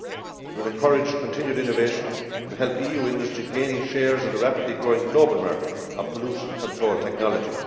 It will encourage continued innovation and help EU industry gain shares of the rapidly growing global market in pollution control technology.